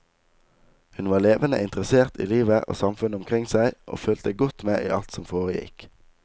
Hun var levende interessert i livet og samfunnet omkring seg, og fulgte godt med i alt som foregikk.